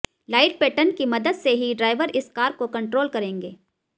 light pattern की मदद से ही ड्राइवर इस कार को कंट्रोल करेंगे